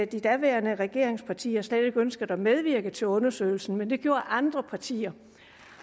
de daværende regeringspartier slet ikke ønskede at medvirke til undersøgelsen men det gjorde andre partier